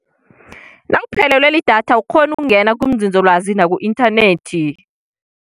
Nawuphelelwe lidatha awukghoni ukungena kunzinzolwazi naku-inthanethi.